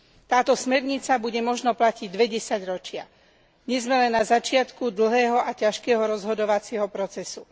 Táto smernica bude možno platiť dve desaťročia, dnes sme len na začiatku dlhého a ťažkého rozhodovacieho procesu.